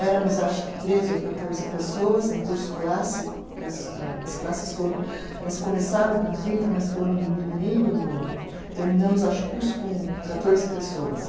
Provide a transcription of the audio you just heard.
Éramos, acho que, treze ou quatorze pessoas no curso clássico, que as as classes foram, elas começaram com trinta, mas foram diminuindo no. Terminamos, acho, que o curso com quatorze pessoas.